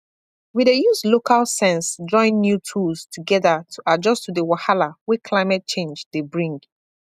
we dey use local sense join new tools together to adjust to the wahala wey climate change dey bring